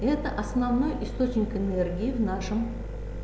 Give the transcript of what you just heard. это основной источник энергии в нашем